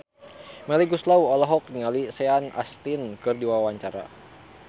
Melly Goeslaw olohok ningali Sean Astin keur diwawancara